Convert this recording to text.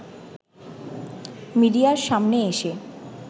মিডিয়ার সামনে এসে